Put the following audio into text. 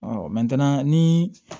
ni